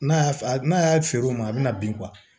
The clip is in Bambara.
N'a y'a n'a y'a feere o ma a bɛ na bin